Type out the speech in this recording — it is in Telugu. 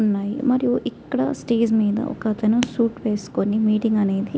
మరియు ఇక్కడ ఒక అతను స్టేజి మిద మనకు సూట్ వేస్ప్కొని --